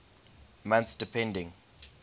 months depending